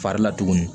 Fari la tuguni